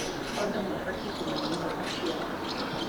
Andũ mabatiĩ kũmenya ihooto ciao.